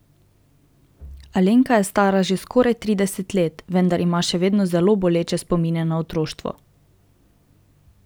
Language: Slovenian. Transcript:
Alenka je stara že skoraj trideset let, vendar ima še vedno zelo boleče spomine na otroštvo.